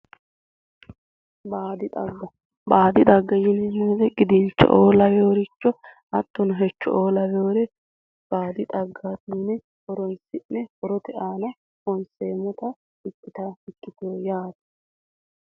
Baadi xagga baadi xagga yineemmo woyite qidinto'o laweworicho hatto hecho'oo lawewore baadi xaggaati yine horoonsi'ne horote aana honseemmota ikkitawo ikkitewo yaate